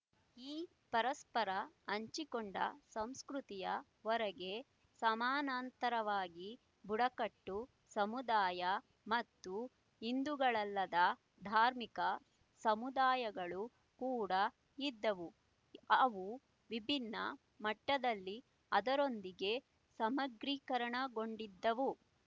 ಈ ಪರಸ್ಪರ ಹಂಚಿಕೊಂಡ ಸಂಸ್ಕೃತಿಯ ಹೊರಗೆ ಸಮಾನಾಂತರವಾಗಿ ಬುಡಕಟ್ಟು ಸಮುದಾಯ ಮತ್ತು ಹಿಂದೂಗಳಲ್ಲದ ಧಾರ್ಮಿಕ ಸಮುದಾಯಗಳು ಕೂಡ ಇದ್ದವು ಅವು ವಿಭಿನ್ನ ಮಟ್ಟದಲ್ಲಿ ಅದರೊಂದಿಗೆ ಸಮಗ್ರೀಕರಣಗೊಂಡಿದ್ದವು